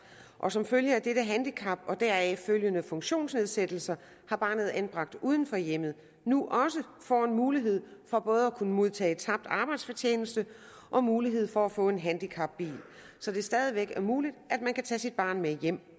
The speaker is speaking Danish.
og som følge af dette handicap og deraf følgende funktionsnedsættelse har barnet anbragt uden for hjemmet nu også får en mulighed for både at kunne modtage tabt arbejdsfortjeneste og mulighed for at få en handicapbil så det stadig væk er muligt at man kan tage sit barn med hjem